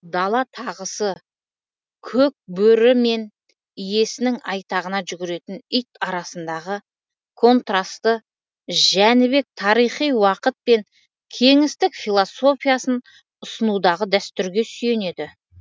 дала тағысы көк бөрі мен иесінің айтағына жүгіретін ит арасындағы контрасты жәнібек тарихи уақыт пен кеңістік философиясын ұсынудағы дәстүрге сүйенеді